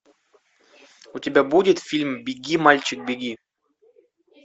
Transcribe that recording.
у тебя будет фильм беги мальчик беги